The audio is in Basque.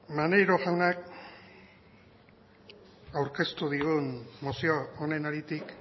maneiro jaunak aurkeztu digun mozio honen haritik